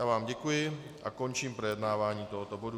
Já vám děkuji a končím projednávání tohoto bodu.